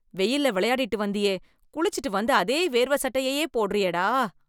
வெயில்ல வெளையாடிட்டு வந்தியே... குளிச்சுட்டு வந்து, அதே வேர்வ சட்டையையே, போடுறியேடா...